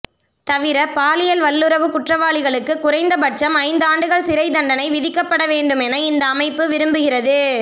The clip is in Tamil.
தவிர பாலியல் வல்லுறவுக் குற்றவாளிகளுக்கு குறைந்த பட்சம் ஐந்து ஆண்டுகள் சிறைத் தண்டனை விதிக்கப்பட வேண்டுமென இந்த அமைப்பு விரும்புகிறது